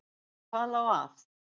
En hvað lá á?